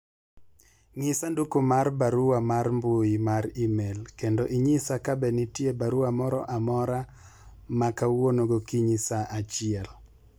ng'i sanduku mar barua mar mbui mar email kendo inyisha kabe nitie barua moro amora ma kwauono gokinyi saa achiel